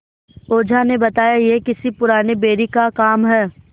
ओझा ने बताया यह किसी पुराने बैरी का काम है